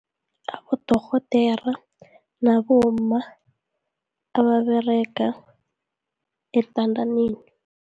Abodorhodera, nabomma ababerega eentandaneni